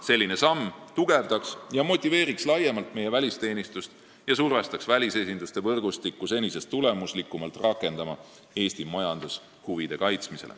Selline samm tugevdaks ja motiveeriks laiemalt meie välisteenistust ja survestaks senisest tulemuslikumalt rakendama välisesinduste võrgustikku Eesti majandushuvide kaitsmisel.